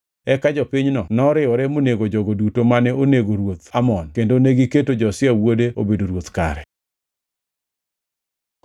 Eka jopinyno noriwore monego jogo duto mane onego ruoth Amon kendo negiketo Josia wuode obedo ruoth kare.